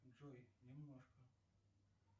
джой немножко